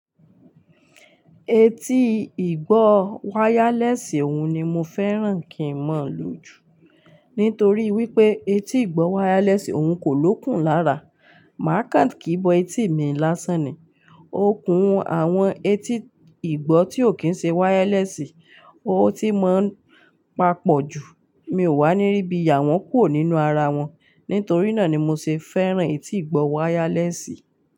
Etí ìgbọ́ wireless òun ni mo fẹ́ràn kí mọ̀ lò jù. Nítorí wípé etí ìgbọ́ wireless òun kò lókun lára. Màá kan kì bọ etí mi lásán ni. Ó kùn àwọn etí ìgbọ́ tí ò kí ń ṣe wireless, ó ti mo papọ̀ ju. Mi ò wà níribi yà wọn kúrò nínú ara wọn. Nítorí náà ni mo ṣe fẹ́ràn etí ìgbọ́ wireless.